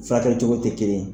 Furakɛ cogo tɛ kelen ye.